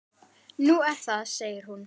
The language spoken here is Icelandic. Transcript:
Nú, er það segir hún.